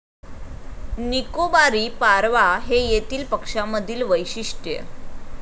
निकोबारी पारवा हे येथील पक्षामधील वैशिष्ट्य.